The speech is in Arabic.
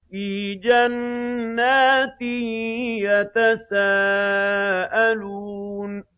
فِي جَنَّاتٍ يَتَسَاءَلُونَ